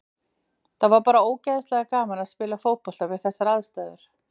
Það var bara ógeðslega gaman að spila fótbolta við þessar aðstæður.